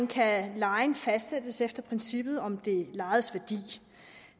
kan lejen fastsættes efter princippet om det lejedes værdi